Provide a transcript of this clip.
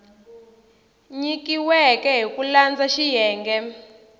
nyikiweke hi ku landza xiyenge